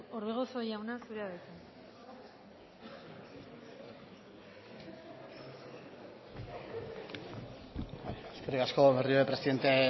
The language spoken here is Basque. orbegozo jauna zurea da hitza eskerrik asko berriro ere presidente